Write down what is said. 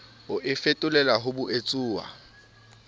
o e fetolele ho boetsuwa